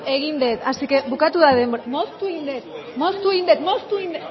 egin dut así que bukatu da denbora moztu egin dut moztu egin